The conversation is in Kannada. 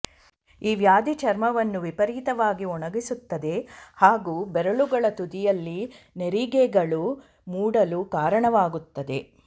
ಈ ವ್ಯಾಧಿ ಚರ್ಮವನ್ನು ವಿಪರೀತವಾಗಿ ಒಣಗಿಸುತ್ತದೆ ಹಾಗೂ ಬೆರಳುಗಳ ತುದಿಯಲ್ಲಿ ನೆರಿಗೆಗಳು ಮೂಡಲು ಕಾರಣವಾಗುತ್ತದೆ